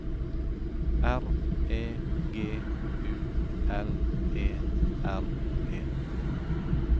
R E G U L E R E